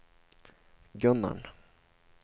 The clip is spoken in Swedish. Gunnarn